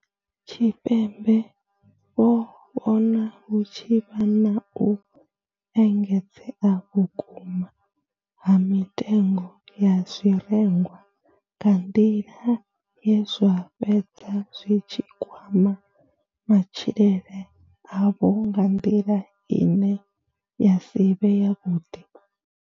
Tshipembe vho vhona hu tshi vha na u engedzea vhukuma ha mitengo ya zwirengwa nga nḓila ye zwa fhedza zwi tshi kwama matshilele avho nga nḓila ine ya si vhe yavhuḓi.